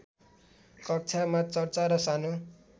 कक्षामा चर्चा र सानो